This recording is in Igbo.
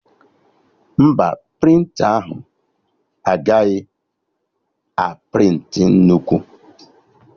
Mba, prịnta ahụ agaghị a prịntị nnukwu